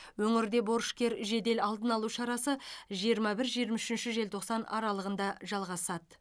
өңірде борышкер жедел алдын алу шарасы жиырма бір жиырма үшінші желтоқсан аралығында жалғасады